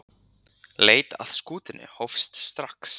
Leit að skútunni hófst strax.